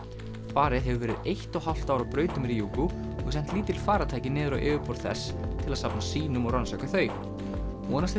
farið hefur verið eitt og hálft ár á braut um Ryugu og sent lítil farartæki niður á yfirborð þess til að safna sýnum og rannsaka þau vonast er